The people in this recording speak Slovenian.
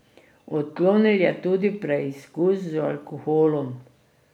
Odklonil je tudi preizkus z alkoholom.